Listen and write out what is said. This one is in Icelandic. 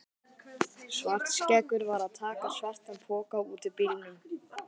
Svartskeggur var að taka svartan poka út úr bílnum.